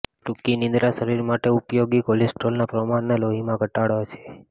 ટૂંકી નિદ્રા શરીર માટે ઉપયોગી કોલેસ્ટરોલનાં પ્રમાણને લોહીમાં ઘટાડે છે